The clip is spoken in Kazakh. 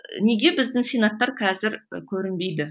неге біздің сенаттар қазір көрінбейді